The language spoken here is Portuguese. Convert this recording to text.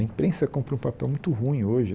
A imprensa cumpre um papel muito ruim hoje.